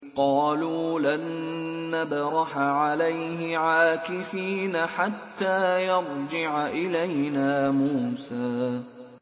قَالُوا لَن نَّبْرَحَ عَلَيْهِ عَاكِفِينَ حَتَّىٰ يَرْجِعَ إِلَيْنَا مُوسَىٰ